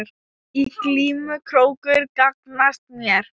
Í glímu krókur gagnast mér.